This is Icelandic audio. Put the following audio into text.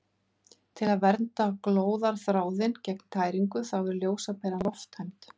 Til að verja glóðarþráðinn gegn tæringu þá er ljósaperan lofttæmd.